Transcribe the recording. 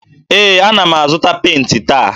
Ee, ana m azụta penti taa.